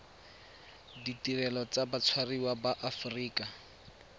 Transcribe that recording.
ditirelo tsa batshwariwa ba aforika